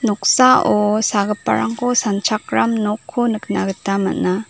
noksao sagiparangko sanchakram nokko nikna gita man·a.